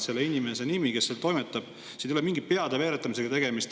Selle inimese nimi, kes seal toimetab – siin ei ole mingi peade veeretamisega tegemist.